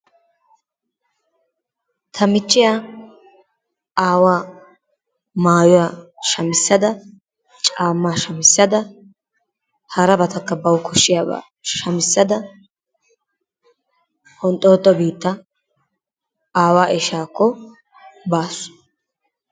Ta michiyaa awaa mayuwaa shamisadaa, cammaa shamisaddaa harabatakka bawu koshiyabbaa shamissada honxoxo biittaa aawaa ishakko bassu.